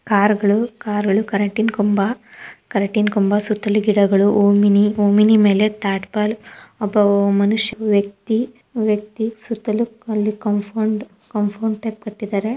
Car ಗಳು car ಗಳು ಕರೆಂಟಿನ್ ಕಂಬ ಕರೆಂಟಿನ್ ಕಂಬ ಸುತ್ತಲೂ ಗಿಡಗಳು ಓಮಿನಿ ಓಮಿನಿ ಮೇಲೆ ಟಾರ್ಪಲ್ ಒಬ್ಬ ಮನುಷ್ಯ ವ್ಯಕ್ತಿ ವ್ಯಕ್ತಿ ಸುತ್ತಲೂ ಅಲ್ಲಿ ಕಾಂಪೌಡ್ ಕಾಂಪೌಡ್ ಟೈಪ್ ಕಟ್ಟಿದ್ದಾರೆ.